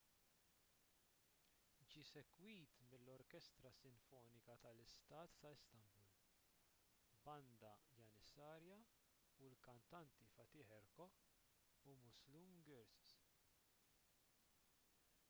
ġie segwit mill-orkestra sinfonika tal-istat ta’ istanbul banda janissarja u l-kantanti fatih erkoç u müslüm gürses